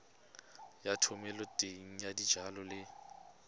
ya thomeloteng ya dijalo le